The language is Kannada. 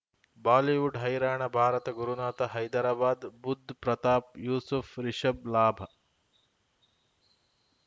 ಬಾಲಿವುಡ್ ಹೈರಾಣ ಭಾರತ ಗುರುನಾಥ ಹೈದರಾಬಾದ್ ಬುಧ್ ಪ್ರತಾಪ್ ಯೂಸುಫ್ ರಿಷಬ್ ಲಾಭ